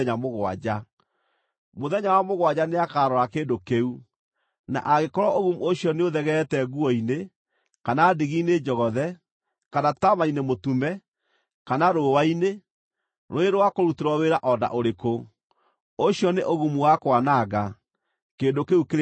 Mũthenya wa mũgwanja nĩakarora kĩndũ kĩu, na angĩkorwo ũgumu ũcio nĩũthegeete nguo-inĩ, kana ndigi-inĩ njogothe, kana taama-inĩ mũtume, kana rũũa-inĩ, rũrĩ rwa kũrutĩrwo wĩra o na ũrĩkũ, ũcio nĩ ũgumu wa kwananga; kĩndũ kĩu kĩrĩ na thaahu.